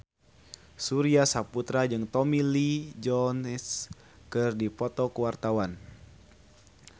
Surya Saputra jeung Tommy Lee Jones keur dipoto ku wartawan